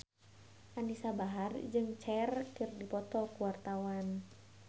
Anisa Bahar jeung Cher keur dipoto ku wartawan